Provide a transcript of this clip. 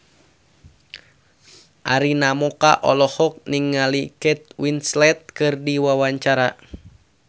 Arina Mocca olohok ningali Kate Winslet keur diwawancara